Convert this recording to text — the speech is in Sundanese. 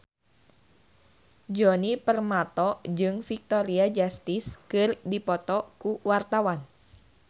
Djoni Permato jeung Victoria Justice keur dipoto ku wartawan